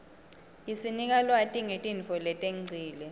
isinika lwati ngetintfo letengcile